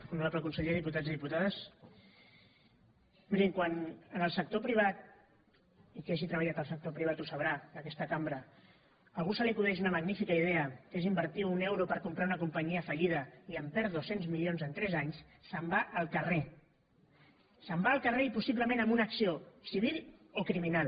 honorable conseller diputats i diputades mirin quan en el sector privat i qui hagi treballat al sector privat ho deu saber d’aquesta cambra a algú se li acudeix una magnífica idea que és invertir un euro per comprar una companyia fallida i perd dos cents milions en tres anys se’n va al carrer se’n va al carrer i possiblement amb una acció civil o criminal